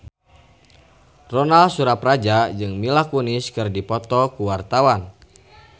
Ronal Surapradja jeung Mila Kunis keur dipoto ku wartawan